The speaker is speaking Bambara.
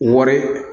Wari